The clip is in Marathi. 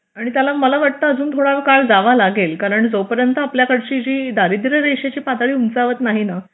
आणि त्याला मला वाटतं अजून थोडा काळ जावा लागेल कारण जोपर्यंत आपल्याकडची दारिद्र्य रेषेची पातळी उंचावत नाही ना